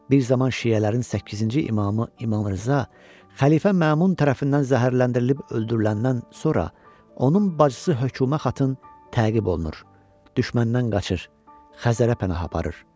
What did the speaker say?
Bir zaman şiələrin səkkizinci imamı İmam Rza xəlifə Mamun tərəfindən zəhərləndirilib öldürüləndən sonra onun bacısı höküma xatın təqib olunur, düşməndən qaçır, Xəzərə pənah aparır.